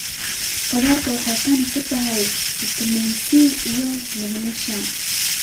Khudradu waxay qani ku tahay fiitamiin C iyo magnesium